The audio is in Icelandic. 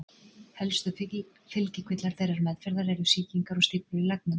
Helstu fylgikvillar þeirrar meðferðar eru sýkingar og stíflur í leggnum.